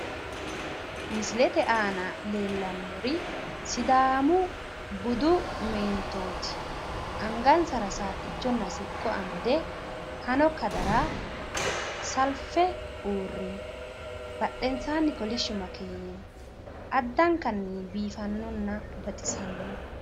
Misilete aana leellannori sidaamu budu meentooti angansara saattichonna siqqo amade hano kadara salfe uurrino. Badhensaanni kolishshu makeeni no. Addankanni biifanninna baxisanno.